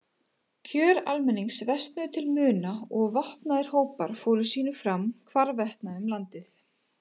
Kjör almennings versnuðu til muna og vopnaðir hópar fóru sínu fram hvarvetna um landið.